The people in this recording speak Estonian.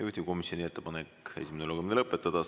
Juhtivkomisjoni ettepanek on esimene lugemine lõpetada.